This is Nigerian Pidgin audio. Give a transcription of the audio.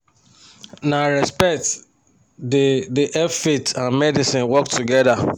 na respect da da help faith and medicine work together